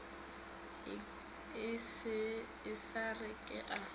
e sa re ke a